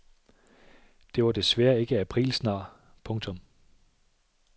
Det var desværre ikke aprilsnar. punktum